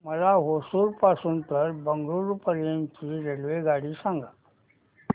मला होसुर पासून तर बंगळुरू पर्यंत ची रेल्वेगाडी सांगा